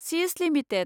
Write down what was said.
सिस लिमिटेड